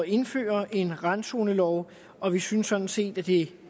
indføre en randzonelov og vi synes sådan set at det